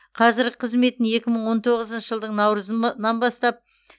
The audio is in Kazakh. қазіргі қызметін екі мың он тоғызыншы жылдың наурызынан бастап